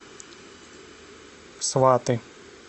сваты